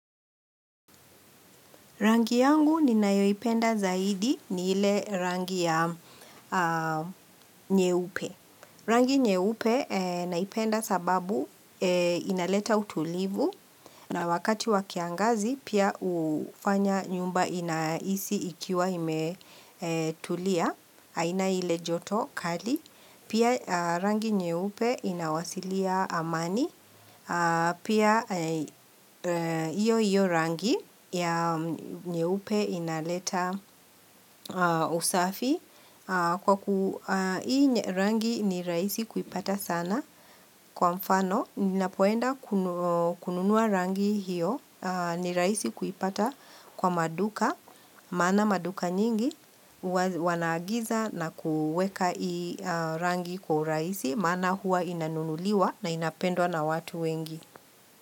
Rangi yangu ninayoipenda zaidi ni ile rangi ya nyeupe. Rangi nyeupe naipenda sababu inaleta utulivu na wakati wa kiangazi pia hufanya nyumba inahisi ikiwa imetulia. Haina ile joto kali. Pia rangi nyeupe inawasilia amani. Pia hiyo hiyo rangi ya nyeupe inaleta usafi Kwa kuu, hii rangi ni raisi kuipata sana Kwa mfano, ninapoenda kununua rangi hiyo ni rahisi kuipata kwa maduka maana maduka nyingi, wanaagiza na kuweka hii rangi kwa urahisi maana huwa inanunuliwa na inapendwa na watu wengi.